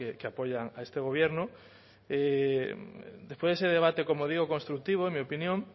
que apoyan a este gobierno después de ese debate como digo constructivo en mi opinión